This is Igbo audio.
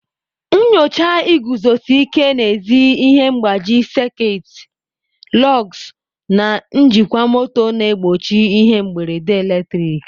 Nyochaa iguzosi ike n'ezi ihe mgbaji sekit, lugs, na njikwa moto na-egbochi ihe mberede eletrik.